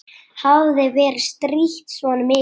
Hafði verið strítt svona mikið.